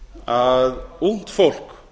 að ungt fólk